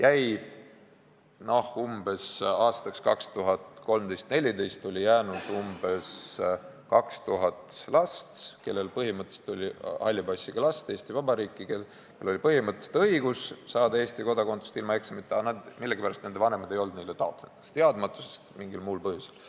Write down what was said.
Aga siiski oli aastateks 2013–2014 jäänud Eesti Vabariiki umbes 2000 halli passiga last, kellel oli põhimõtteliselt õigus saada Eesti kodakondsus ilma eksameid tegemata, aga kelle vanemad millegipärast ei olnud neile seda taotlenud – kas teadmatusest või mingil muul põhjusel.